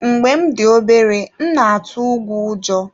Mgbe m dị obere, m na-atụ ùgwù ụjọ.